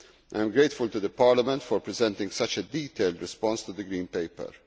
I am grateful to Parliament for presenting such a detailed response to the green paper.